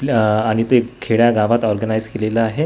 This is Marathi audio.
ल आह आणि ते खेड्यागावात ऑर्गनाईझ केलेला आहे.